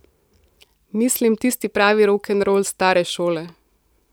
Mislim tisti pravi rokenrol stare šole ...